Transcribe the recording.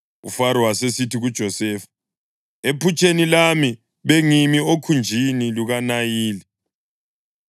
UFaro wasesithi kuJosefa, “Ephutsheni lami bengimi okhunjini lukaNayili,